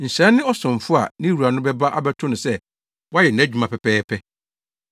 Nhyira ne ɔsomfo a ne wura no bɛba abɛto no sɛ wayɛ nʼadwuma pɛpɛɛpɛ.